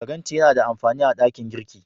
Faranti yana da amafani a ɗakin girki.